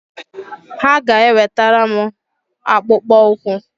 Ha ga-ewetara m akpụkpọ ukwu